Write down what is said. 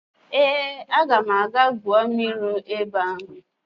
Ee, aga m aga gwuo mmiri ebe ahụ